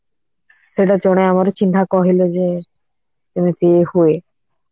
ସେଇଟା ଜଣେ ଆମର ଚିହ୍ନା କହିଲେ ଯେ ଏମିତି ହୁଏ